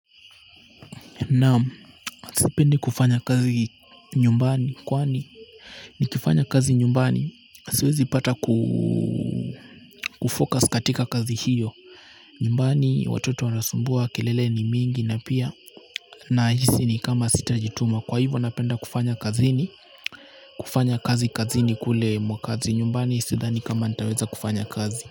Naam sipendi kufanya kazi nyumbani kwani nikifanya kazi nyumbani siwezi pata kufocus katika kazi hiyo nyumbani watoto wanasumbua kelele ni mingi na pia nahisi ni kama sitajituma kwa hivyo napenda kufanya kazi kazini kule mwakazi nyumbani. Sidhani kama nitaweza kufanya kazi.